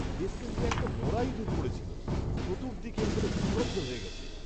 বেসমেন্টে একটা মরা ইঁদুর পড়েছিল। চতুর্দিক এর ফলে দুর্গন্ধ হয়ে গিয়েছে।